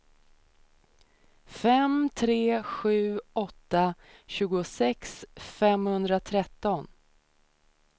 fem tre sju åtta tjugosex femhundratretton